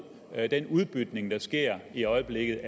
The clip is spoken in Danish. den udbytning der sker i øjeblikket